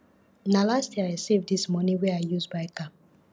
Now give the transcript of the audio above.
na last year i save dis moni wey i use buy car